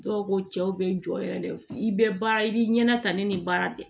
Dɔw ko cɛw be jɔ yɛrɛ de i be baara i b'i ɲɛna ta ne ni baara tɛ